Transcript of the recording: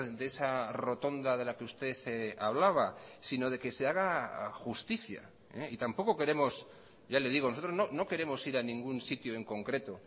de esa rotonda de la que usted hablaba sino de que se haga justicia y tampoco queremos ya le digo nosotros no queremos ir a ningún sitio en concreto